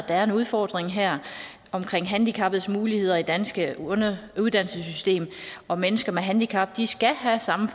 er en udfordring her omkring handicappedes muligheder i det danske uddannelsessystem og mennesker med handicap skal have samme